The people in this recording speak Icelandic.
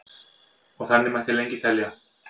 og þannig mætti lengi telja